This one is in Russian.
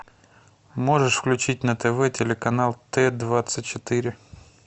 можешь включить на тв телеканал т двадцать четыре